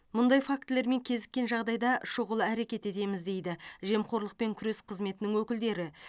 мұндай фактілермен кезіккен жағдайда шұғыл әрекет етеміз дейді жемқорлықпен күрес қызметінің өкілдері